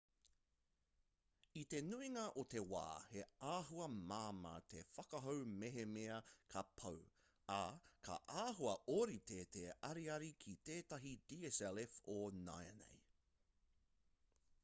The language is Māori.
i te nuinga o te wā he āhua māmā te whakahou mehemea ka pau ā ka āhua ōrite te ariari ki tētahi dslf o nāianei